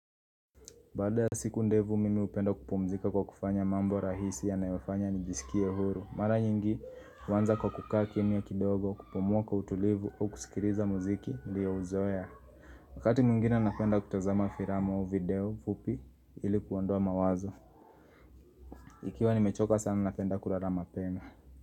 Baada ya siku ndevu mimi upenda kupumzika kwa kufanya mambo rahisi yanayofanya nijisikie huru Mara nyingi uanza kwa kukaa kimya kidogo kupumua kwa utulivu au kusikiliza muziki niliyo uzoea Wakati mwingine napenda kutazama firamu au video fupi ili kuondoa mawazo Ikiwa nimechoka sana napenda kulala mapema.